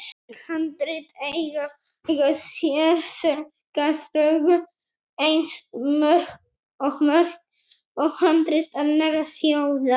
Íslensk handrit eiga sér sorgarsögu, eins og mörg handrit annarra þjóða.